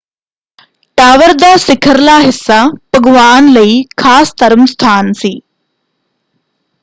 Tower ਦਾ ਸਿਖਰਲਾ ਹਿੱਸਾ ਭਗਵਾਨ ਲਈ ਖਾਸ ਧਰਮ ਸਥਾਨ ਸੀ।